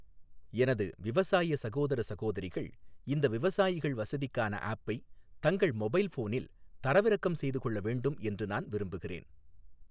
எனது விவசாய சகோதர சகோதரிகள் இந்த விவசாயிகள் வசதிக்கான ஆஃப்பை தங்கள் மொபைல் ஃபோனில் தரவிறக்கம் செய்து கொள்ள வேண்டும் என்று நான் விரும்புகிறேன்.